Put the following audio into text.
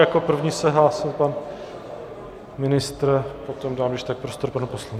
Jako první se hlásil pan ministr, potom dám když tak prostor panu poslanci.